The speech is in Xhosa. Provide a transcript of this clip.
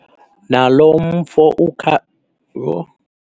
Naloo mfo. Yho!